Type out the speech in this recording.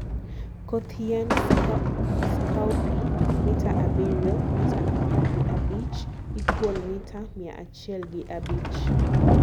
koth yiend scowpea mita abirio *mita apar gi abich= mita mia achiel gi abich